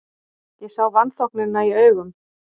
Ég sá vanþóknunina í augum